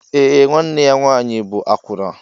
Eé, nwanne ya nwaanyị bụ àkwụnà